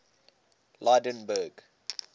lydenburg